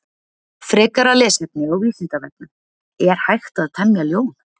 Frekara lesefni á Vísindavefnum: Er hægt að temja ljón?